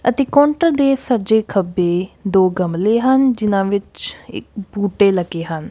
ਅਤੇ ਕਾਊਂਟਰ ਦੇ ਸੱਜੇ ਖੱਬੇ ਦੋ ਗਮਲੇ ਹਨ ਜਿਨਾਂ ਵਿੱਚ ਇੱਕ ਬੂਟੇ ਲੱਗੇ ਹਨ।